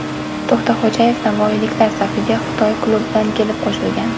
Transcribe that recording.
To‘xtaxo‘jayev navoiyliklar safiga Xitoy klubidan kelib qo‘shilgan.